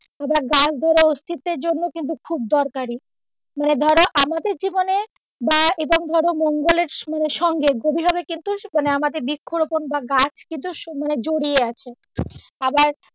এবার গাছ অস্থিত্তের জন্যও কিন্তু খুব দরকারি মানে ধরো আমাদের জীবনে বা এটা ধরো মঙ্গলের সঙ্গে গভীর ভাবে কিন্তু মানে আমাদের বৃক্ষরোপণ বা গাছ কিন্তু সময়ে জড়িয়ে আছে আবার গাছ,